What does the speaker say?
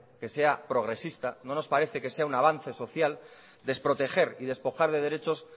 que sea progresista no nos parece que sea un avance social desproteger y despojar de derechos